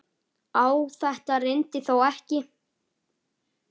Á þetta reyndi þó ekki.